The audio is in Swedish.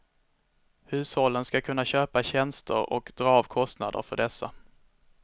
Hushållen ska kunna köpa tjänster och dra av kostnader för dessa.